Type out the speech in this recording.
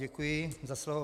Děkuji za slovo.